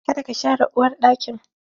Ka da ka share uwarɗakin!